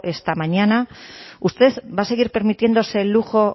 esta mañana usted va a seguir permitiéndose el lujo